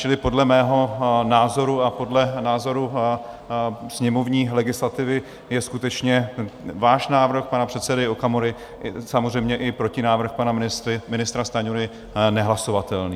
Čili podle mého názoru a podle názoru sněmovní legislativy je skutečně váš návrh, pana předsedy Okamury, samozřejmě i protinávrh pana ministra Stanjury nehlasovatelný.